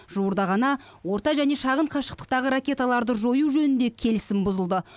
жуырда ғана орта және шағын қашықтықтағы ракеталарды жою жөнінде келісім бұзылды